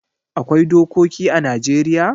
Akwai dokoki ã Najeriya